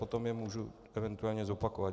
Potom je můžu eventuálně zopakovat.